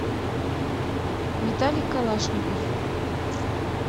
виталий калашников